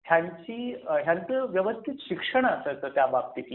त्यांची ह्यांच व्यवस्थित शिक्षण असायचं त्याबाबतीतील.